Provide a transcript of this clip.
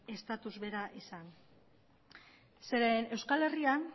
status bera izan zeren euskal herrian